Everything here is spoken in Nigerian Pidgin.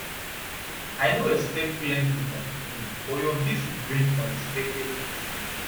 i no expect plenty from today but your visit bring unexpected peace